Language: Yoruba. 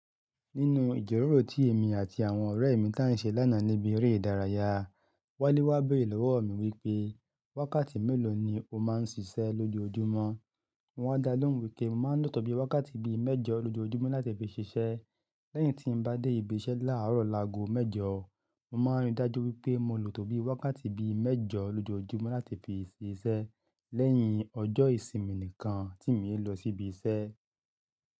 Nínú ìjíròrò tí èmi àti àwọn ọ̀rẹ́ mi tán ṣe lánàá níbi eré ìdárayá, Wálé wá béèrè lọ́wọ́ mi wípé, wákàtí mélòó ni o máa ń ṣiṣẹ́ lójoojúmọ́? Mo wá dá lóhùn wípé mo máa ń lò tó bi wákàtí bíi mẹ́jọ lójoojúmọ́ láti fi ṣiṣẹ́. Lẹ́yìn tí n bá dé ibi iṣẹ́ láààrọ̀ làágò mẹ́jọ, mo máa ń rí dájú wípé mo lò tó bi wákàtí bíi mẹ́jọ lójoojúmọ́ láti fi ṣiṣẹ́ lẹ́yìn ọjọ́ ìsinmi nìkan tí mi n lọ síbi iṣẹ́.